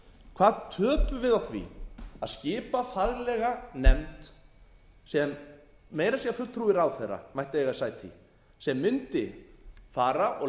hvað töpum við á því að skipa faglega nefnd sem meira að segja fulltrúi ráðherra mætti eiga sæti í sem mundi fara og leita jafnvel